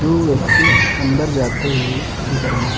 दो व्यक्ति अंदर जाते हुए दिख रहे--